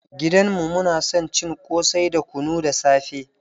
Gidan mu muna son cin ƙosai da kunu da safe.